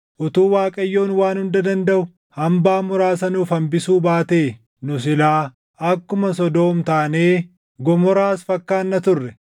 Utuu Waaqayyoon Waan Hunda Dandaʼu hambaa muraasa nuuf hambisuu baatee, nu silaa akkuma Sodoom taanee, Gomoraas fakkaanna turre.